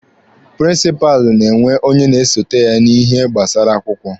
Prịnsịpalụ na-enwe onye na-esote ya n'ihe gbasara akwụkwọ.